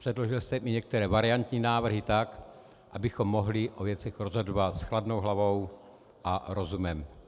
Předložil jsem i některé variantní návrhy, tak abychom mohli o věcech rozhodovat s chladnou hlavou a rozumem.